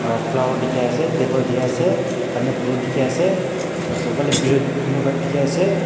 aro flower dikhiase table dikhiase pani butul dikhiase sofa la piru pillow khan dikhaease.